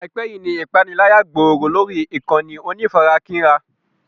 Àìpẹ́ yíì ni ìpániláyà gbòòrò lórí ìkànnì onífarakínra.